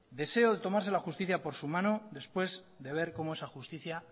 deseo de tomarse la justicia por su mano después de ver cómo esa justicia